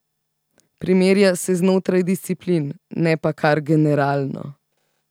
Primerja se znotraj disciplin, ne pa kar generalno.